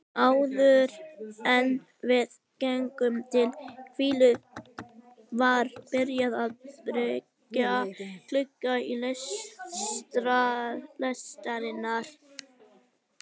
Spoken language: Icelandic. Áðuren við gengum til hvílu var byrjað að byrgja glugga lestarinnar.